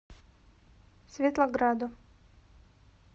светлограду